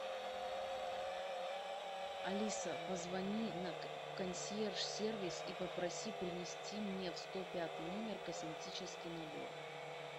алиса позвони на консьерж сервис и попроси принести мне в сто пятый номер косметический набор